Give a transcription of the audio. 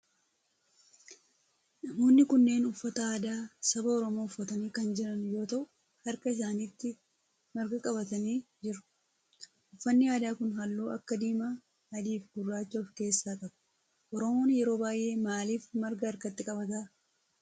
Namoonni kunneen uffata aadaa saba oromoo uffatanii kan jiran yoo ta'u harka isaanitti marga qabatanii jiru. Uffanni aadaa kun halluu akka diimaa, adii fi gurraacha of keessaa qaba. Oromoon yeroo baayyee maalif marga harkatti qabata?